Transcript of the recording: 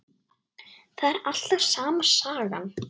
Það er alltaf sama sagan.